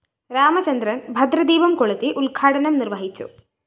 രാമചന്ദ്രന്‍ ഭദ്രദീപം കൊളുത്തി ഉദ്ഘാടനം നിര്‍വഹിച്ചു